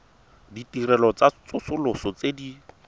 ditirelo tsa tsosoloso tse di